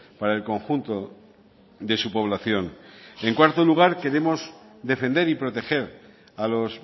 para el conjunto de su población en cuarto lugar queremos defender y proteger a los